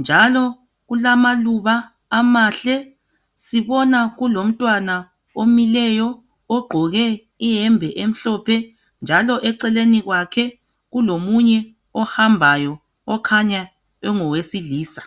njalo kulamaluba amahle sibona kulomntwana omileyo ogqoke iyembe emhlophe njalo eceleni kwakhe kulomunye ohambayo okhanya engowesilisa.